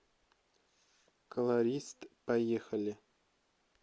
колорист поехали